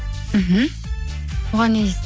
мхм оған не дейсіз